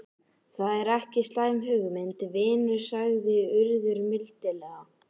Það er ekki slæm hugmynd, vinur sagði Urður mildilega.